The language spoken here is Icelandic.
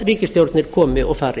ríkisstjórnir komi og fari